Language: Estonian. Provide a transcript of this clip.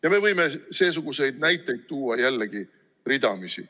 Ja me võime seesuguseid näiteid tuua jällegi ridamisi.